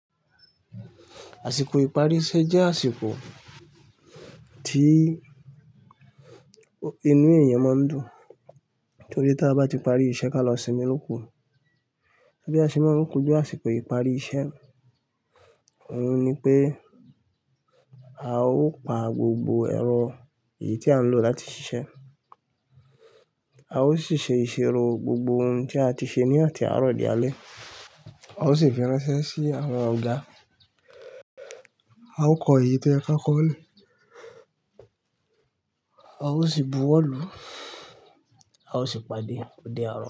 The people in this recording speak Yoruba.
Àsìkò ìparí iṣẹ́ jẹ́ àsìkò tí inú èèyàn máa ń dùn, torí tí a bá ti parí iṣẹ́ kí á lọ sinmi ló ku bí a se ma ń ko ju àsìkò ìparí iṣẹ́, òhun ni pé a ó pa gbogbo ẹ̀rọ èyí tí a ń lò láti ṣiṣẹ́, a ó sì ṣe ìṣèrò gbogbo ohun tí a ti ṣe ní àti àárọ̀ dí alẹ́ẹ́, a ó sì fi ránṣẹ́ sí àwọn ọ̀gá, a ó kọ èyí tó yẹ ká kọ́ le, a ó sì buwọ́lu, a ó sì pàdé òde àárọ̀